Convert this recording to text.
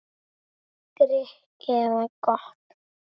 Grikk eða gott?